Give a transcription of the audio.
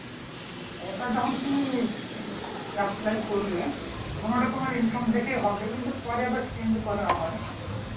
ওটা যখন তুমি apply করবে ওখানে ওটা তোমার income দেখেই হবে পরে আবার change করা হয়